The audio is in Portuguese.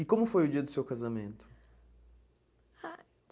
E como foi o dia do seu casamento? Ah